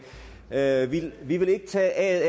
er er vi vil ikke tage aet